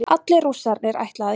Allir Rússarnir ætla að játa